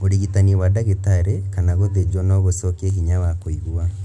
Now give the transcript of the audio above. ũrigitani wa ndagĩtarĩ kana gũthĩnjwo no gũcokie hinya wa kũigua